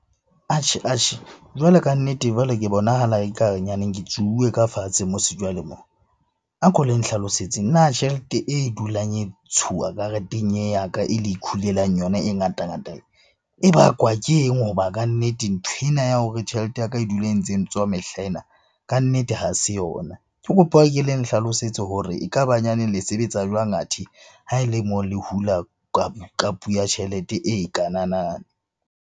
Atjhe-atjhe, jwalo kannete jwale ke bonahala ekare nyaneng ke tsuuwe ka fatshe mose jwale moo. A ko le nhlalosetseng na tjhelete e dulang e ntshuwa kareteng e ya ka, e le ikhulelang yona e ngata ngata e bakwa ke eng? Hoba kannete nthwena ya hore tjhelete ya ka e dula e ntse ntswa mehlena kannete ha se yona. Ke kopa e ke le nhlalosetse hore ekaba nyaneng le sebetsa jwang athe, ha ele moo le hula ya tjhelete e kanana.